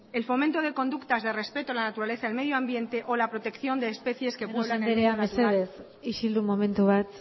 el fomento de conductas de respeto a la naturaleza el medioambiente o la protección de especies entre otras llanos andrea mesedez isildu momentu bat